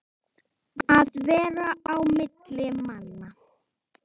Að vera á milli manna!